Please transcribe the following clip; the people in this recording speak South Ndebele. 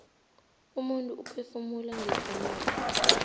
umuntu uphefumula ngepumulo